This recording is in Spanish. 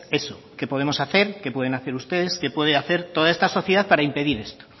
eso qué podemos hacer qué pueden hacer ustedes qué puede hacer toda esta sociedad para impedir esto